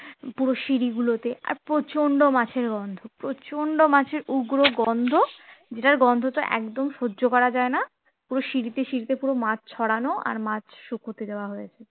পুরো সিঁড়ি গুলোতে আর প্রচন্ড মাছের গন্ধ প্রচন্ড মাছের উগ্র গন্ধ যেটার গন্ধটা একদম সহ্য করা যায় না পুরো সিঁড়িতে সিঁড়িতে পুরো মাছ ছড়ানো আর মাছ শুকাতে দেওয়া হয়েছে